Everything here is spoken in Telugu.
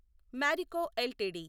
Marico LTD